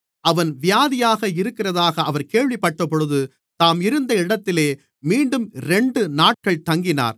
அவன் வியாதியாக இருக்கிறதாக அவர் கேள்விப்பட்டபொழுது தாம் இருந்த இடத்திலே மீண்டும் இரண்டு நாட்கள் தங்கினார்